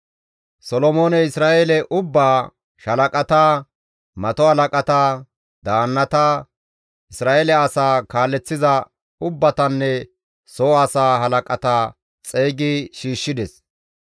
Solomooney Isra7eele ubbaa, shaalaqata, mato halaqata, daannata, Isra7eele asaa kaaleththiza ubbatanne soo asaa halaqata xeygi shiishshides.